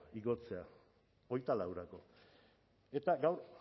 igotzea hogeita laurako eta gaur